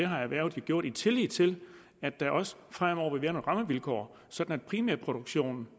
har erhvervet gjort i tillid til at der også fremover vil rammevilkår sådan at primærproduktionen